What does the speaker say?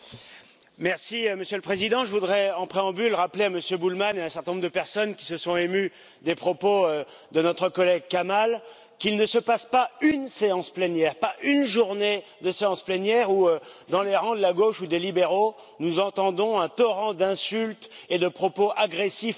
Monsieur le Président, je voudrais en préambule, rappeler à Monsieur Bullmann et à un certain nombre de personnes qui se sont émues des propos de notre collègue Kamall qu'il ne se passe pas une séance plénière, pas une journée de séance plénière où, dans les rangs de la gauche ou des libéraux, nous n'entendions un torrent d'insultes et de propos agressifs et outranciers